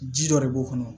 Ji dɔ de b'o kɔnɔ